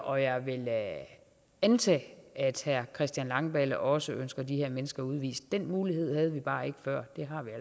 og jeg vil antage at herre christian langballe også ønsker de her mennesker udvist den mulighed havde vi bare ikke før